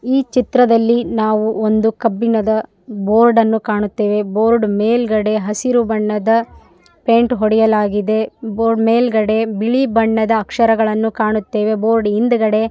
ಈ ಚಿತ್ರದಲ್ಲಿ ನಾವು ಒಂದು ಕಬ್ಬಿಣದ ಬೋರ್ಡ್ ಕಾಣುತ್ತೇವೆ ಬೋರ್ಡ್ ಮೇಲೆಗಡೆ ಹಸಿರು ಬಣ್ಣದ ಪೇಯಿಂಟ್ ಹೊಡೆಯಲಾಗಿದೆ ಬೋರ್ಡ್ ಮೇಲೆಗಡೆ ಬಿಳಿ ಬಣ್ಣದ ಅಕ್ಷರಗಳನ್ನು ಕಾಣುತ್ತೇವೆ ಬೋರ್ಡ್ ಹಿಂದೆಗಡೆ --